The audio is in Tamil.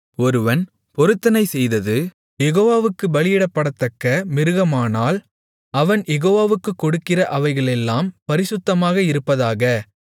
ஒருவன் பொருத்தனைசெய்தது யெகோவாவுக்குப் பலியிடப்படத்தக்க மிருகமானால் அவன் யெகோவாவுக்குக் கொடுக்கிற அவைகளெல்லாம் பரிசுத்தமாக இருப்பதாக